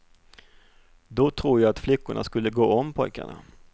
Då tror jag att flickorna skulle gå om pojkarna.